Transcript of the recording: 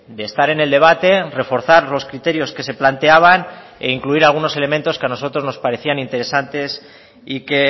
de estar en el debate reforzar los criterios que se planteaban e incluir algunos elementos que a nosotros nos parecían interesantes y que